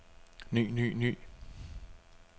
ny ny ny